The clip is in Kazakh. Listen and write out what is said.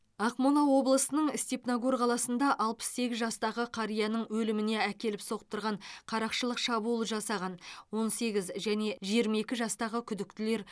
ақмола облысының степногор қаласында алпыс сегіз жастағы қарияның өліміне әкеліп соқтырған қарақшылық шабуыл жасаған он сегіз және жиырма екі жастағы күдіктілер